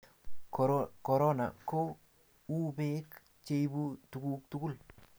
korona ko u bek cheibe tuguk tugul